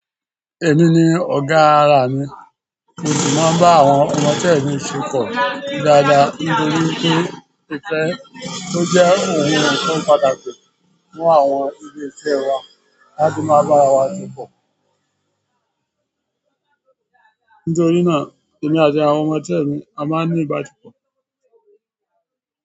Èmi ni ọ̀gá ara mi, mo sì máa ń bá àwọn ọmọ iṣẹ́ mi se kọ dáadáa. Nítorí pé ìfẹ́ tó jẹ́ ọ̀un ni ńkan pàtàkì fún àwọn ìle iṣẹ́ ẹ wa, ki a jo maa ba ara wa to po. Nítorí náà èmi àti àwọn ọmọ iṣẹ́ mi a máa ń ní ìbá sepọ̀.